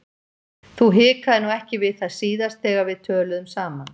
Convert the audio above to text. Þú hikaðir nú ekki við það síðast þegar við töluðum saman.